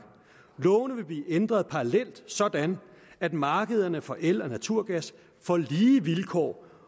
lovene vil blive ændret parallelt sådan at markederne for el og naturgas får lige vilkår